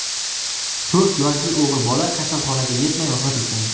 To‘rt yoshli o‘g‘il bola kasalxonaga yetmay vafot etgan.